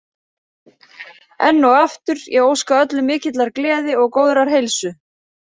Enn og aftur, ég óska öllum mikillar gleði og góðrar heilsu.